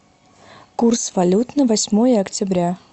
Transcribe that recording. курс валют на восьмое октября